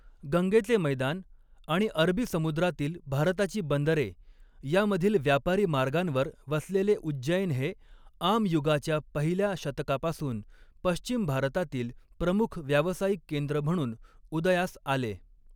गंगेचे मैदान आणि अरबी समुद्रातील भारताची बंदरे यामधील व्यापारी मार्गांवर वसलेले उज्जैन हे, आम युगाच्या पहिल्या शतकापासून पश्चिम भारतातील प्रमुख व्यावसायिक केंद्र म्हणून उदयास आले.